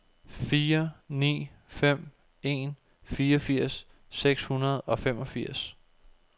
fire ni fem en fireogfirs seks hundrede og femogfirs